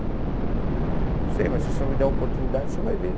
Então, não sei, mas se o senhor me der a oportunidade, o senhor vai ver.